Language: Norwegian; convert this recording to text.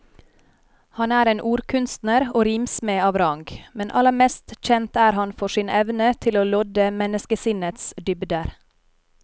Han er en ordkunstner og rimsmed av rang, men aller mest kjent er han for sin evne til å lodde menneskesinnets dybder.